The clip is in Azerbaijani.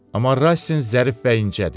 Amma Rassin zərif və incədir.